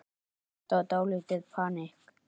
Þetta var dálítið panikk.